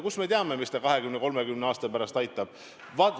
Kust me teame, kuidas ta 20–30 aasta pärast aitab?